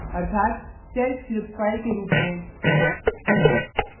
अर्थात shell script file के रूप में